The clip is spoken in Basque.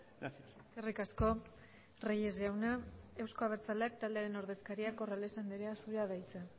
gracias eskerrik asko reyes jauna euzko abertzaleak taldearen ordezkaria corrales andrea zurea da hitza